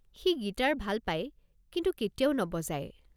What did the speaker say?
সি guitar ভাল পাই কিন্তু কেতিয়াও নবজায়।